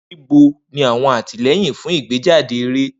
Nibo ni awọn atilẹyin fun igbejade eré?